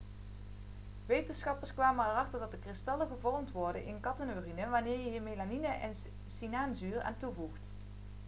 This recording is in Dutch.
wetenschappers kwamen erachter dat er kristallen gevormd worden in kattenurine wanneer je hier melanine en cyanuurzuur aan toevoegt